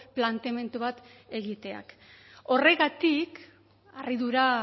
planteamendu bat egiteak horregatik harridura